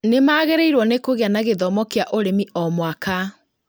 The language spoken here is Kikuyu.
Nĩmagĩrĩirwo nĩ kũgĩa na gĩthomo kĩa ũrĩmi o mwaka